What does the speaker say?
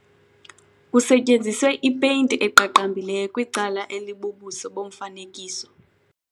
Kusetyenziswe ipeyinti eqaqambileyo kwicala elibubuso bomfanekiso.